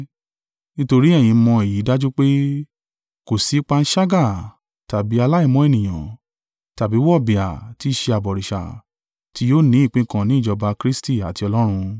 Nítorí ẹ̀yin mọ èyí dájú pé, kò sí panṣágà, tàbí aláìmọ́ ènìyàn, tàbí wọ̀bìà (tí í ṣé abọ̀rìṣà), tí yóò ni ìpín kan ni ìjọba Kristi àti Ọlọ́run.